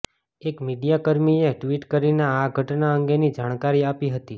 એક મીડિયાકર્મીએ ટ્વિટ કરીને આ ઘટના અંગેની જાણકારી આપી હતી